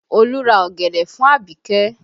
Olu ra ọ̀gẹ̀dẹ̀ fún abike